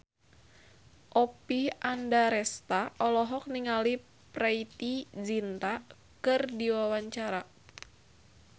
Oppie Andaresta olohok ningali Preity Zinta keur diwawancara